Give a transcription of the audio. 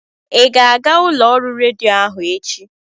Ị ga m'aga ụlọ ọrụ redio ahụ echi?